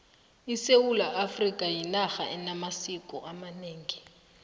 isewula afrikha yinarha enamasiko amanengi